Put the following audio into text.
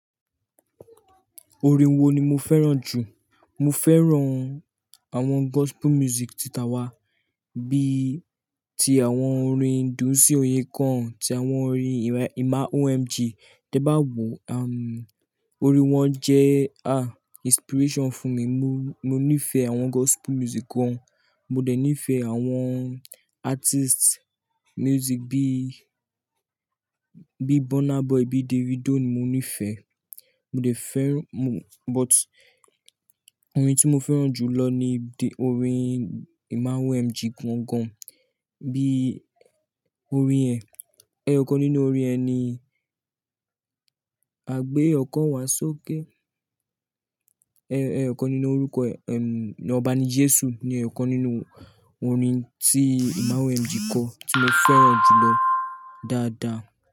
Orin wo ni mo fẹ́ràn jù? Mo féràn àwon gospel music ti tàwa bi ti àwon orin Dunsi Oyekan, ti àwon orin Emma OMG Tẹ bá wò, orin wọn jẹ́ inspiration fún mi. Mo, mo nífẹ̀ẹ́ àwọn gospel music gan. Mo dẹ̀ nífẹ̀ẹ́ àwọn artist music bí i, bí i Burna Boy, bí i Davido ni mo nífẹ̀ẹ́. Mo dẹ̀ fẹ́ràn, mo-- but orin tí mo fẹ́ràn jù lọ ni orin Emma OMG gan gan. Bi orin e, eyokan ninu orin yen ni, a gbe okán wa sókè Ẹ, ẹyọkan nínú orúkọ ẹ̀, ẹ̀, "Ọba ni Jésù" ni ẹyọkan nínú orin tí Emma OMG kọ tí mo fẹ́ràn jù lọ dáadáa.